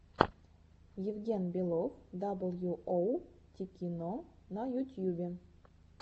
евген белов дабл ю оу тикино на ютьюбе